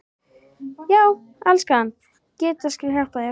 Já, elskan, Gedda skal hjálpa þér